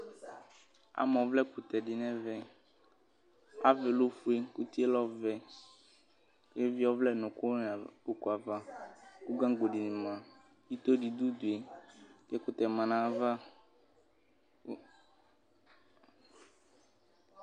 ama ɔvlɛ kutɛ di n'ɛvɛ avaɛ lɛ ofue utie lɛ ɔvɛ k'evie ɔvlɛ no òkò ni òkò ava kò gango di ni ma ito di do udue kò ɛkutɛ ma n'ava